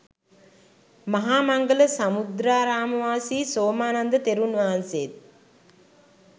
මහා මංගල සමුද්‍රාරාමවාසි සෝමානන්ද තෙරුන්වහන්සේත්